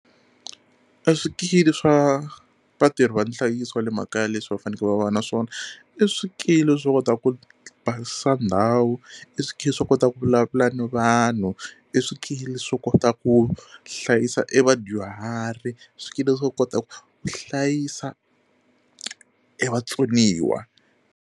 E swikili swa vatirhi va nhlayiso wa le makaya leswi va faneke va va na swona i swikili swo kota ku basisa ndhawu, i swikili swo kota ku vulavula na vanhu, i swikili swo kota ku hlayisa e vadyuhari, swikili swo kota ku hlayisa e vatsoniwa.